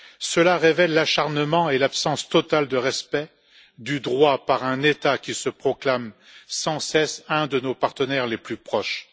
Cela révèle l'acharnement et l'absence totale de respect du droit par un État qui se proclame sans cesse un de nos partenaires les plus proches.